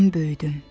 Mən böyüdüm.